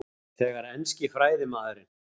Þegar enski fræðimaðurinn